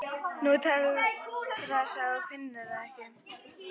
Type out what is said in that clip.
Nú, til þess að þú finnir það ekki.